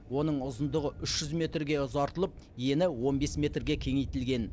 оның ұзындығы үш жүз метрге ұзартылып ені он бес метрге кеңейтілген